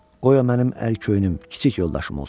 Qoy o mənim əl köynüm kiçik yoldaşım olsun.